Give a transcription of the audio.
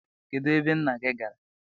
Kedu ebe nna gị gara?